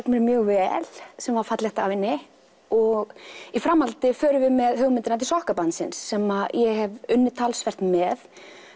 mjög vel sem var fallegt af henni og í framhaldi förum við með hugmyndina til sokkabandsins sem ég hef unnið talsvert með